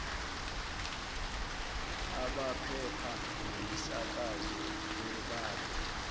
abamaphepha nemisakazo bebambe